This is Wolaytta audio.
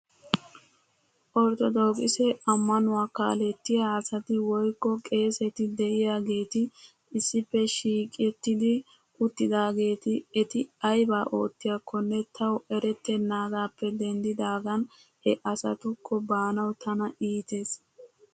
Orttodookise ammanuwaa kaalettiyaa asati woykko qeeseti de'iyaageeti issippe shiiqrttidi uttidaageeti eti aybaa oottiyaakkonne taw erettenaagaappe denddidaagan he asatukko baanaw tana iites.